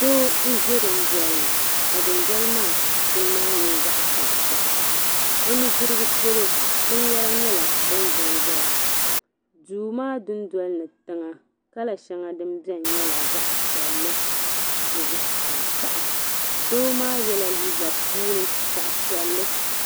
Doo n-ʒe dundoli ni ka dundoli maa punu maa nyɛ zaɣ'tankpaɣu o nudirigu polo binyɛra nyɛla din za n-zaya duu maa dundoli ni tiŋa kala shɛŋa din beni nyɛla zaɣ'piɛlli ni zaɣ'tankpaɣu doo maa yela liiga puuni zaɣ'piɛlli.